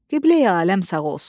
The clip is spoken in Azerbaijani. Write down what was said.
Qibleyi aləm sağ olsun.